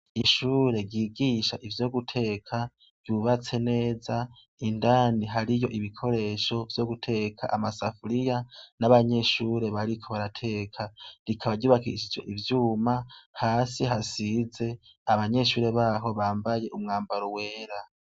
Ishure rigisha ivyo guteka ryubatse neza indani hari yo ibikoresho vyo guteka amasafuriya n'abanyeshure bariko barateka rikaba ryubakishije ivyuma hasi hasize abanyeshure baho bambaye umwambaro wera.